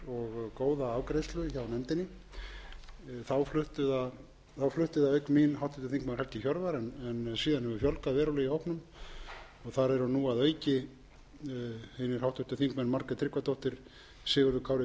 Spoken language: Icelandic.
og góða afgreiðslu hjá nefndinni þá flutti það auk mín háttvirtir þingmenn helgi hjörvar en síðan hefur fjölgað verulega í hópnum þar eru nú að auki einir háttvirtir þingmenn margrét tryggvadóttir sigurður kári